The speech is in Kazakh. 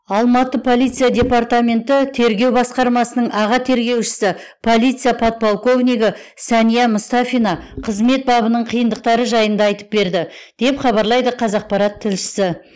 алматы полиция департаменті тергеу басқармасының аға тергеушісі полиция подполковнигі сәния мұстафина қызмет бабының қиындықтары жайында айтып берді деп хабарлайды қазақпарат тілшісі